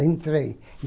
Entrei.